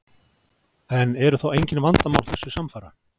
En eru þá engin vandamál þessu samfara?